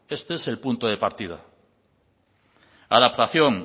este es el punto de partida adaptación